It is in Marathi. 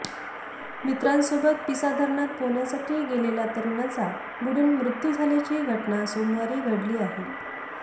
मित्रांसोबत पिसा धरणात पोहण्यासाठी गेलेल्या तरुणाचा बुडून मृत्यू झाल्याची घटना सोमवारी घडली आहे